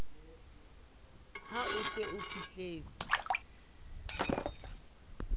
ha o se o fihletse